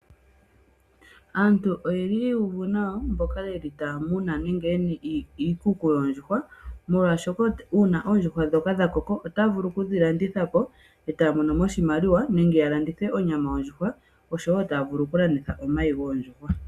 Aantu oyeli yuuvu nawa mboka yeli taya muna nenge yena iikuku yoondjuhwa molwaashoka uuna oondjuhwa dhoka dhakoko otavulu okudhilandithapo eetaya monomo oshimaliwa nenge yalanditha onyama yondjuhwa osho woo taya vulu okulanditha omayi goondjuhwa.